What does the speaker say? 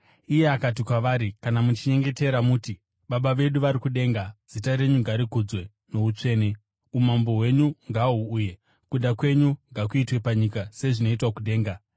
Iye akati kwavari, “Kana muchinyengetera, muti: “ ‘Baba vedu vari kudenga, zita renyu ngarikudzwe noutsvene. Umambo hwenyu ngahuuye. Kuda kwenyu ngakuitwe panyika sezvinoitwa kudenga.